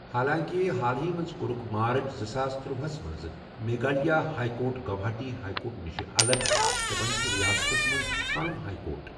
حالانٛکہِ حالٕے منٛز کوٚرُکھ مارٕچ زٕساس تٔروَوہ ہَس منٛز Meghalaya high court Guwahati high court نِش الگ تہٕ وۄنۍ چھُ ریاستَس منٛز پنُن ہائی کورٹ۔